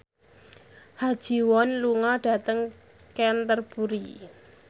Ha Ji Won lunga dhateng Canterbury